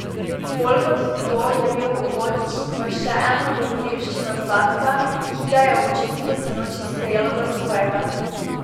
Bolj kot to je bil uvod v še eno dogodivščino Zlatka, ki ga je občinstvo sinoči sprejelo za svojega.